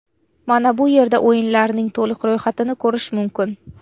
Mana bu yerda o‘yinlarning to‘liq ro‘yxatini ko‘rish mumkin.